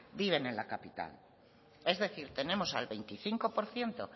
viven en la capital es decir tenemos al veinticinco por ciento